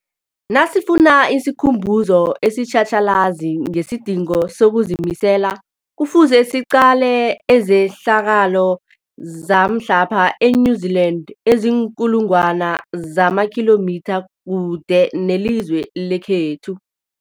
Nasifuna isikhumbuzo esitjhatjhalazi ngesidingo sokuzimisela, Kufuze siqale izehlakalo zamhlapha e-New Zealand eziinkulu ngwana zamakhilomitha kude nelizwe lekhethu.